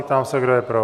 Ptám se, kdo je pro?